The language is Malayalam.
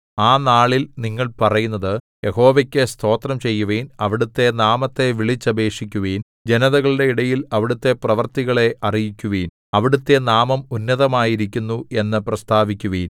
ആ നാളിൽ നിങ്ങൾ പറയുന്നത് യഹോവയ്ക്കു സ്തോത്രം ചെയ്യുവിൻ അവിടുത്തെ നാമത്തെ വിളിച്ചപേക്ഷിക്കുവിൻ ജനതകളുടെ ഇടയിൽ അവിടുത്തെ പ്രവൃത്തികളെ അറിയിക്കുവിൻ അവിടുത്തെ നാമം ഉന്നതമായിരിക്കുന്നു എന്നു പ്രസ്താവിക്കുവിൻ